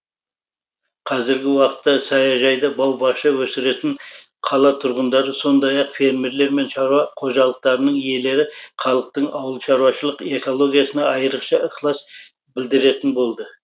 қазіргі уақытта саяжайда бау бақша өсіретін қала тұрғындары сондай ақ фермерлер мен шаруа қожалықтарының иелері халықтың ауылшаруашылық экологиясына айрықша ықылас білдіретін болды